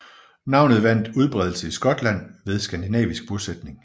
Navnet vandt udbredelse i Skotland ved skandinavisk bosætning